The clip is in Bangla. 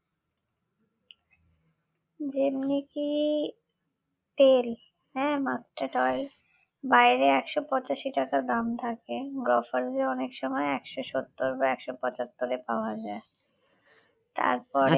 যেমনি কি তেল হ্যাঁ mustard oil বাইরে একশ পঁচাশি টাকা দাম থাকে গ্রফার্সে অনেক সময় একশ সত্তর বা একশ পঁচাত্তরে পাওয়া যায় তারপরে